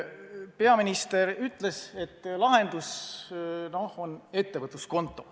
Peaminister ütles, et lahendus on ettevõtluskonto.